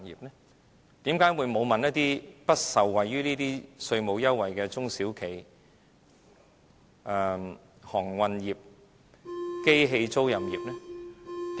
為甚麼沒有諮詢不受惠於這些稅務優惠的中小企業、航運業、機器租賃業呢？